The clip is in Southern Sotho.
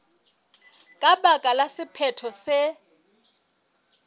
ka baka la sephetho se